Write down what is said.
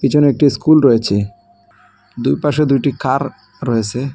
পিছনে একটি স্কুল রয়েচে দুইপাশে দুইটি কার রয়েসে ।